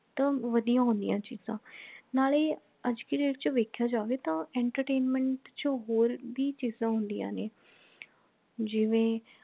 ਤਾਂ ਵਧੀਆਂ ਹੁੰਦੀਆਂ ਚੀਜਾਂ ਨਾਲੇ ਅਜ ਦੀ date ਚ ਵੇਖਿਆ ਜਾਵੇ ਤਾਂ entertainment ਚ ਹੋਰ ਭੀ ਚੀਜਾਂ ਹੁੰਦੀਆਂ ਨੇ ਜਿਵੇਂ